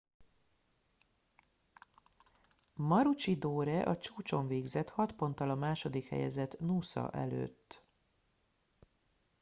maroochydore a csúcson végzett hat ponttal a második helyezett noosa előtt